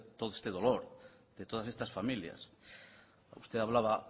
todo este dolor de todas estas familias usted hablaba